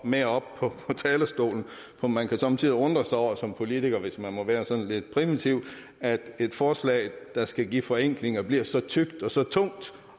med op på talerstolen for man kan somme tider undre sig over som politiker hvis man må være lidt primitiv at et forslag der skal give forenklinger bliver så tykt og så tungt